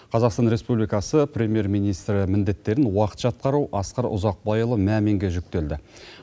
қазақстан республикасы премьер министрі міндеттерін уақытша атқару асқар ұзақбайұлы маминге жүктелді